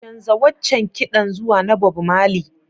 Canza waccan kiɗan zuwa na Bob Marley.